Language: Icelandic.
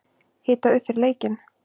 Hita upp fyrir leikinn?